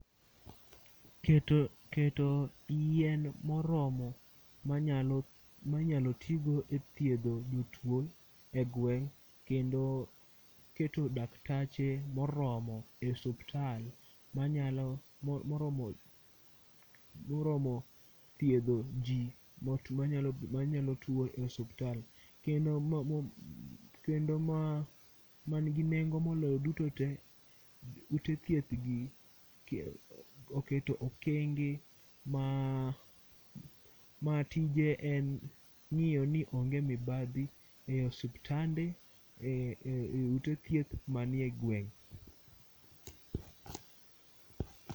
Keto keto yien moromo manyalo minyalo tigo e thiedho jotuo e gweng' kendo keto daktache moromo e osuptal manyalo moromo moromo thiedho ji manyalo tuo e osuptal. Kendo man gi nengo moloyo duto te ute thieth gi oketo okenge matije en ng'iyo ni onge moibadhi e osiptande e ute thieth manie gweng'.